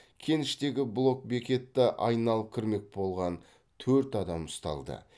кеніштегі блок бекетті айналып кірмек болған төрт адам ұсталды